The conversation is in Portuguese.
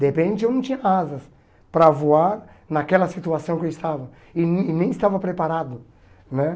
De repente eu não tinha asas para voar naquela situação que eu estava e nem e nem estava preparado né.